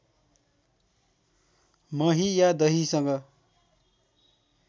मही या दहीसँग